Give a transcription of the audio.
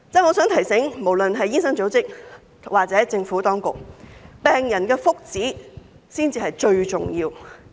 我想提醒，無論是醫生組織或政府當局，病人的福祉才是最重要。